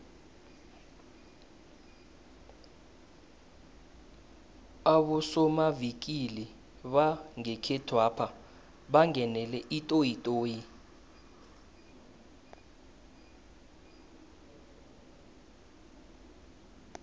abosomavikili bangekhethwapha bangenele itoyitoyi